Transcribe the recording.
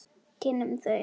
Kynnum þeim það bara.